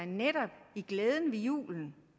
netop glæden ved julen